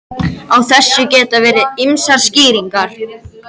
Á þessu geta verið ýmsar skýringar.